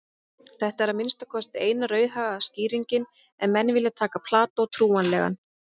Þetta er að minnsta kosti eina raunhæfa skýringin ef menn vilja taka Plató trúanlegan.